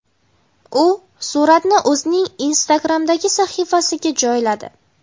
U suratni o‘zining Instagram’dagi sahifasiga ham joyladi.